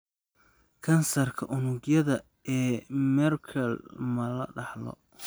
Kansarka unugyada ee Merkel ma la dhaxlo?